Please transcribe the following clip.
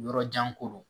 Yɔrɔ jan ko don